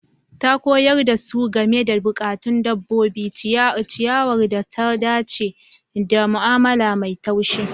Ta Koyar da su game da bukatun dabbobi, ciyarwar da ta dace, da mu'amala mai laushi.